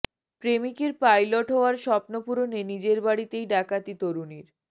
প্রেমিকের পাইলট হওয়ার স্বপ্ন পূরণে নিজের বাড়িতেই ডাকাতি তরুণীর